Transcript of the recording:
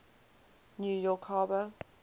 new york harbor